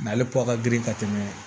ale kɔ ka girin ka tɛmɛ